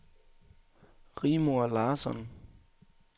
Rigmor Larsson